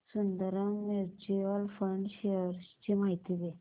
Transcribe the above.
Sundaram mutual fund shares ची माहिती दे